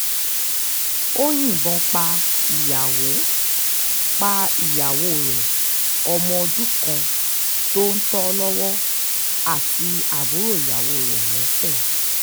ó yìnbọn pa ìyàwó pa ìyàwó rẹ̀ ọmọ ọdún kan tó ń tò lọ́wọ́ àti àbúrò ìyàwó rẹ̀ lẹ́sẹ̀